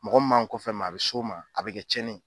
Mɔgɔ m'an kɔfɛ ma a bɛ s'o ma, a bɛ kɛ tiɲɛni ye.